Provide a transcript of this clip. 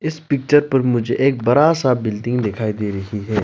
इस पिक्चर पर मुझे एक बरा सा बिल्डिंग दिखाई दे रही है।